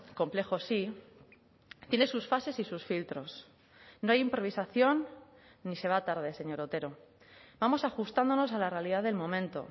complejo sí tiene sus fases y sus filtros no hay improvisación ni se va tarde señor otero vamos ajustándonos a la realidad del momento